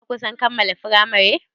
Ka kusan kammala firamari?